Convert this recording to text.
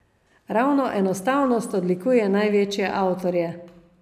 Ravno enostavnost odlikuje največje avtorje.